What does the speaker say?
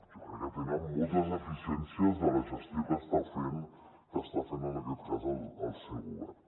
jo crec que tenen moltes deficiències en la gestió que està fent en aquest cas el seu govern